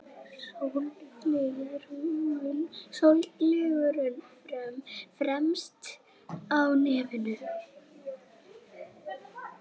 Sólgleraugun fremst á nefinu.